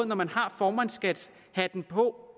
når man har formandskabshatten på